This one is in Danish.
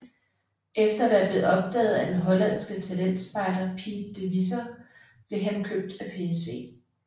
Efter at være blevet opdaget af den hollandske talentspejder Piet de Visser blev han købt af PSV